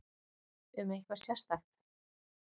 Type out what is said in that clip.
Um eitthvað sérstakt?